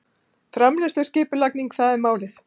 Framleiðsluskipulagning- það er málið!